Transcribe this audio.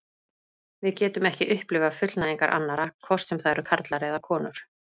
Við getum ekki upplifað fullnægingar annarra, hvort sem það eru karlar eða konur.